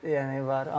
Ehtiyat yəni var.